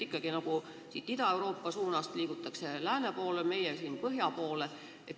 Ikkagi Ida-Euroopa suunast liigutakse lääne poole, meie inimesed liiguvad põhja poole.